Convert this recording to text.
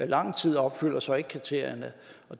lang tid og opfylder så ikke kriterierne